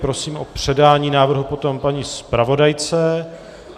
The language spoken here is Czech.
Prosím o předání návrhu potom paní zpravodajce.